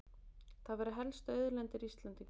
Það væru helstu auðlindir Íslendinga